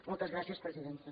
moltes gràcies presidenta